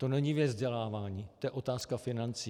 To není věc vzdělávání, to je otázka financí.